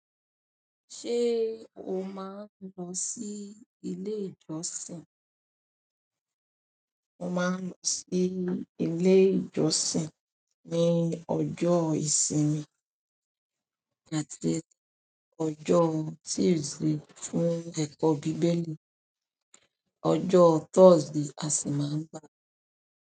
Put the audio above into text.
Ṣé o máa ń lọ sí ilé ìjọsìn? Mo máa ń lọ sí ilé ìjọsìn ní ọjọ́ ìsinmi, that is ọjọ́ Tuesday fún ẹ̀kọ́ Bibeli, ọjọ́ Thursday a sì máa ń.